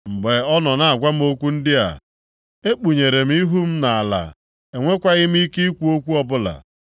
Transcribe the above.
Mgbe ọ na-agwa m okwu ndị a, ekpunyere m ihu m nʼala enwekwaghị m ike ikwu okwu ọbụla.